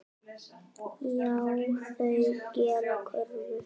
Já, þau gera kröfur.